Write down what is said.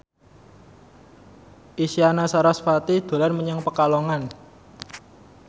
Isyana Sarasvati dolan menyang Pekalongan